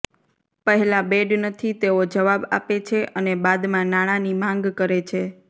પહેલા બેડ નથી તેવો જવાબ આપે છે અને બાદમાં નાણાંની માંગ કરે છે